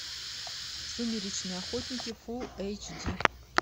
сумеречные охотники фулл эйч ди